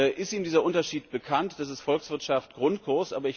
Ist ihm dieser Unterschied bekannt? Das ist Volkswirtschaft Grundkurs.